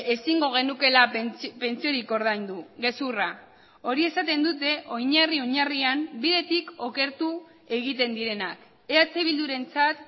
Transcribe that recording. ezingo genukeela pentsiorik ordaindu gezurra hori esaten dute oinarri oinarrian bidetik okertu egiten direnak eh bildurentzat